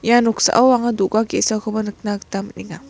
ia noksao anga do·ga ge·sakoba nikna gita man·enga.